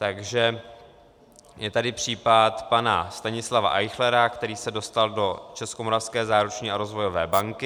Takže je tady případ pana Stanislava Eichlera, který se dostal do Českomoravské záruční a rozvojové banky.